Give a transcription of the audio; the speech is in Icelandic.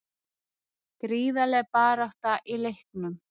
Gríðarleg barátta í leiknum